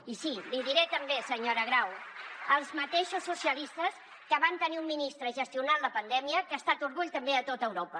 i sí l’hi diré també senyora grau els mateixos socialistes que vam tenir un ministre gestionant la pandèmia que ha estat orgull també a tot europa